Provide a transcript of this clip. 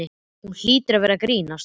Hún hlýtur að vera að grínast.